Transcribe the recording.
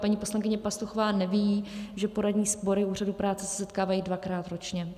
Paní poslankyně Pastuchová neví, že poradní sbory Úřadu práce se setkávají dvakrát ročně.